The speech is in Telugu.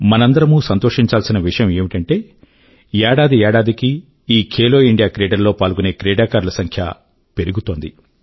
మనందరం సంతోషించాల్సిన విషయం ఏమిటంటే ఏడాది ఏడాది కీ కృతజ్ఞతా ఈ ఖేలో ఇండియా క్రీడలు లో పాల్గొనే క్రీడాకారుల సంఖ్య పెరుగుతోంది